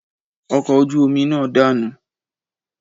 Ọkọ̀ ojú omi náà dànù